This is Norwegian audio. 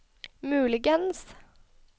muligens